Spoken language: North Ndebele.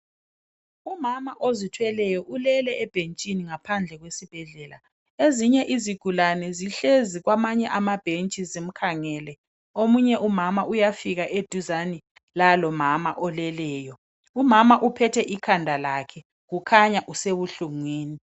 umama ozithweleyo ulele ebhenjini phandle esibhedlela ezinye izigulane zihlezi kwamanye amabhenji zimkhangele omunye umama uyafika eduzane lalomama oleleyo umama uphethe ikhandalakhe ukhanya usebuhlungwini